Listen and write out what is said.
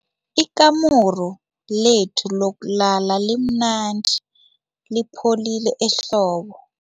Ikamuru lethu lokulala limnandi lipholile ehlobo.